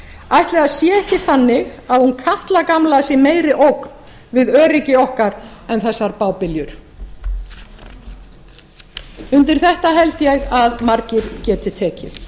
ætli það sé ekki þannig að hún katla gamla sé meiri ógn við öryggi okkar en þessar bábiljur undir þetta held ég að margir geti tekið